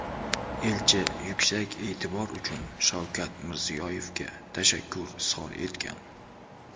Elchi yuksak e’tibor uchun Shavkat Mirziyoyevga tashakkur izhor etgan.